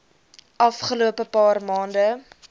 afgelope paar maande